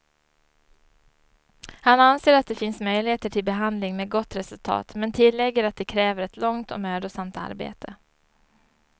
Han anser att det finns möjligheter till behandling med gott resultat, men tillägger att det kräver ett långt och mödosamt arbete.